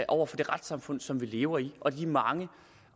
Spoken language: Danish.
over for det retssamfund som vi lever i og over for de mange